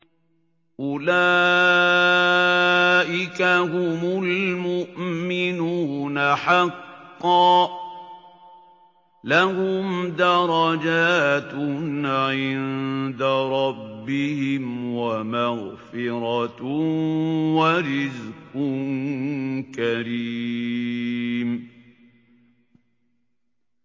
أُولَٰئِكَ هُمُ الْمُؤْمِنُونَ حَقًّا ۚ لَّهُمْ دَرَجَاتٌ عِندَ رَبِّهِمْ وَمَغْفِرَةٌ وَرِزْقٌ كَرِيمٌ